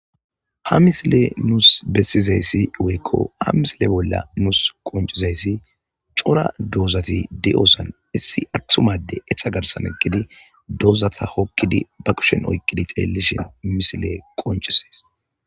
ha misile nuus bessizayssi woykko ha misile bolla nuus qoncizayssi cora doozati di7osan issi attumade etha garsan eqidi doozata hokkidi ba kushen oykqidi xelelishin misile qoncisees